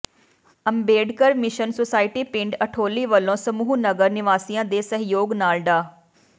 Ambedkar mission society ਪਿੰਡ ਅਠੌਲੀ ਵਲੋਂ ਸਮੂਹ ਨਗਰ ਨਿਵਾਸੀਆਂ ਦੇ ਸਹਿਯੋਗ ਨਾਲ ਡਾ